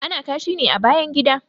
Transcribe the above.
Ana kashi ne a bayan gida